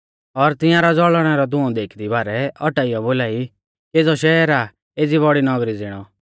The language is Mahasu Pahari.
और तिंआरौ ज़ौल़णै रौ धुंऔ देखदी बारै औटाइयौ बोलाई केज़ौ शैहर आ एज़ी बौड़ी नगरी ज़िणौ